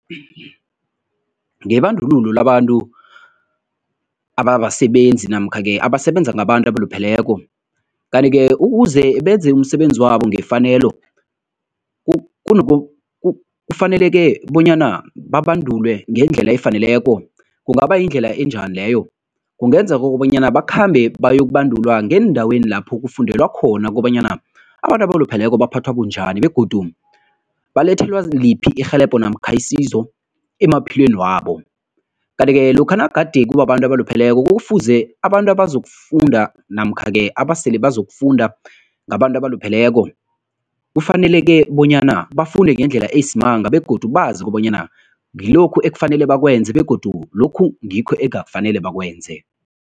Ngebandlululo labantu ababasebenzi namkha-ke abasebenza ngabantu abalupheleko, kanti-ke ukuze benze umsebenzi wabo ngefanelo kufaneleke bonyana babandulwe ngendlela efaneleko, kungaba yindlela enjani leyo? Kungenza kobanyana bakhambe bayokubandulwa ngeendaweni lapho kufundelwa khona kobanyana abantu abalupheleko baphathwa bunjani begodu balethelwa liphi irhelebho namkha isizo emaphilweni wabo. Kanti-ke lokha nagade kubabantu abalupheleko kufuze abantu abazokufunda namkha-ke abasele bazokufunda ngabantu abalupheleko, kufanele-ke bonyana bafunde ngendlela eyisimanga begodu bazi kobanyana ngilokhu ekufanele bakwenze begodu lokhu ngikho engafanele bakwenze.